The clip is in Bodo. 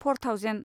four thousand